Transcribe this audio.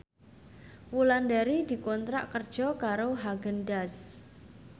Wulandari dikontrak kerja karo Haagen Daazs